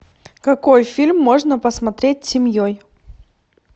какой фильм можно посмотреть семьей